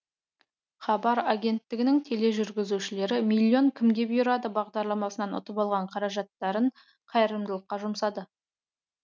хабар агенттігінің тележүргізушілері миллион кімге бұйырады бағдарламасынан ұтып алған қаражаттарын қайырымдылыққа жұмсады